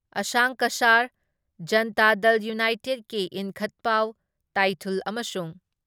ꯑꯁꯪ ꯀꯁꯔ, ꯖꯟꯇꯥ ꯗꯜ ꯌꯨꯅꯥꯇꯦꯠꯀꯤ ꯏꯟꯈꯟꯄꯥꯎ ꯇꯥꯏꯊꯨꯜ ꯑꯃꯁꯨꯡ